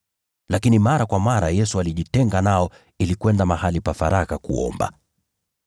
Lakini mara kwa mara Yesu alijitenga nao ili kwenda mahali pa faragha kuomba.